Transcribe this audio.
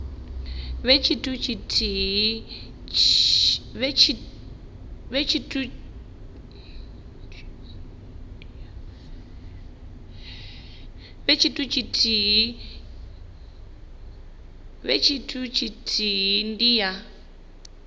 vhe tshithu tshithihi ndi ya